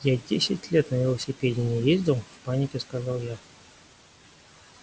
я десять лет на велосипеде не ездил в панике сказал я